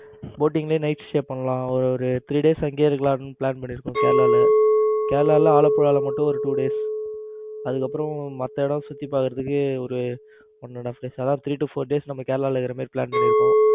boating night stay பண்ணலாம். ஒரு three days அங்கேயே இருக்கலான்னு Plan பண்ணி இருக்கோம் கேரளால. கேரளால ஆலப்புழா மட்டும் ஒரு two days அதுக்கப்புறம் மத்த இடம் சுத்தி பார்க்கிறதுக்கு ஒரு அதாவது three to four days கேரளாவுல இருக்கிற மாதிரி plan பண்ணி இருக்கோம்.